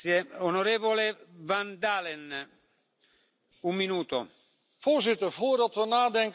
Voorzitter, voordat we nadenken over verdieping van de EMU, moeten we eerst gemaakte afspraken nakomen.